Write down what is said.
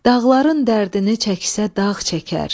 Dağların dərdini çəksə dağ çəkər.